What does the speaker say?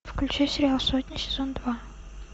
включи сериал сотня сезон два